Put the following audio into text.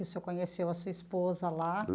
O senhor conheceu a sua esposa lá?